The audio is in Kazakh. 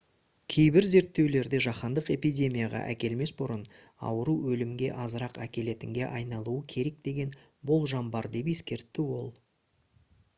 кейбір зерттеулерде жаһандық эпидемияға әкелмес бұрын ауру өлімге азырақ әкелетінге айналуы керек деген болжам бар деп ескертті ол